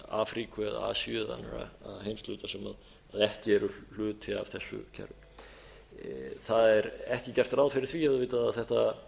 afríku eða asíu eða annarra heimshluta sem ekki eru hluti af þessu kerfi það er ekki gert ráð fyrir því auðvitað að þetta